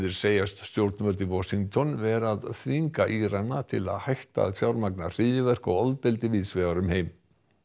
segjast stjórnvöld í Washington vera að þvinga Írana til þess að hætta að fjármagna hryðjuverk og ofbeldi víðs vegar um heim